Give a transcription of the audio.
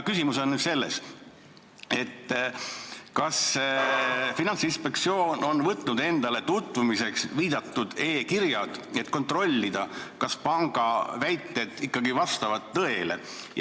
Küsimus on selles, kas Finantsinspektsioon on viidatud e-kirjad võtnud tutvumiseks, et kontrollida, kas panga väited ikkagi vastavad tõele.